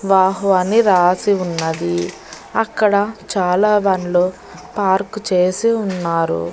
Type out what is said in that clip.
వాహ్వా అని రాసి ఉన్నది అక్కడ చాలా బండ్లు పార్కు చేసి ఉన్నారు.